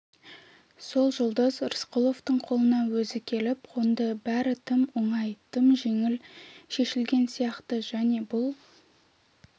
сол жұлдыз рысқұловтың қолына өзі келіп қонды бәрі тым оңай тым жеңіл шешілген сияқты және бұл